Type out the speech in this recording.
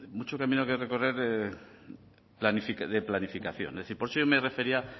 mucho camino que recorrer de planificación es decir por eso yo me refería